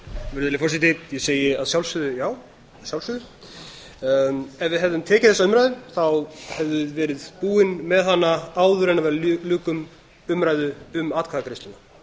virðulegi forseti ég segi að sjálfsögðu já að sjálfsögðu ef við hefðum tekið þessa umræðu þá hefði verið búin með hana áður en við ljúkum umræðu um atkvæðagreiðsluna